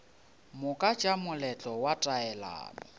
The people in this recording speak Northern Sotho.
moka tša moletlo wa taelano